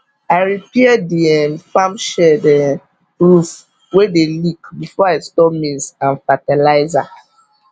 i repair di um farm shed um roof wey dey leak before i store maize and fertilizer